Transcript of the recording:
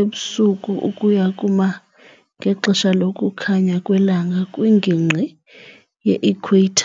ebusuku ukuya kuma- ngexesha lokukhanya kwelanga kwingingqi ye-ikhweyitha .